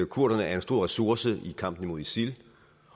kurderne er en stor ressource i kampen mod isil